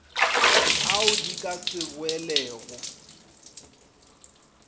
ao di ka se boelego